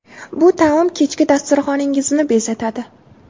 Bu taom kechki dasturxoningizni bezatadi.